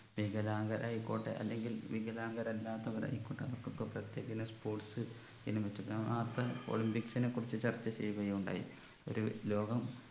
വികലാംഗർ ആയിക്കോട്ടെ അല്ലെങ്കിൽ വികലാംഗർ അല്ലാത്തവർ ആയിക്കോട്ടെ അവർക്കൊക്കെ പ്രത്യേക ഇനം sports ഇനം ഒളിമ്പിക്സിനെ കുറിച്ച് ചർച്ച ചെയ്യുകയുണ്ടായി ഒരു ലോകം